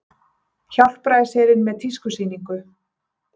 Hjálpræðisherinn með tískusýningu